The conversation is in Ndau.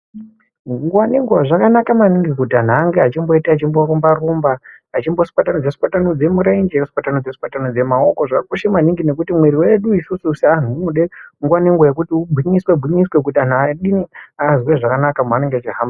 Nguwa nenguwa zvakanaka maningi kuti anhu ange achimboita achimborumba rumba, achimboswatanudza swatanudze mirenje kuswatanudza swatanudza maoko. Zvakakosha maningi nekuti mwiri yedu isusu seanhu unode nguwa nenguwa yekuti ugwinyiswe gwinyiswe kuti anhu adini? Azwe zvakanaka maanenge echihamba.